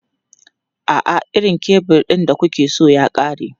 A'a, irin kebul ɗin da kuke so ya ƙare.